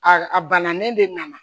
A a bananen de nana